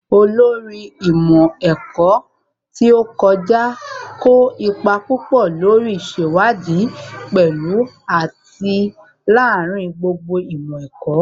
Olórí ìmọ̀ ẹ̀kọ́ tó kọjá kó ipa púpọ̀ lórí ìṣèwádìí pẹ̀lú àti lááríin gbogbo ìmọ̀ ẹ̀kọ́